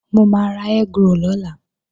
Mo máa ra egg roll lọ́la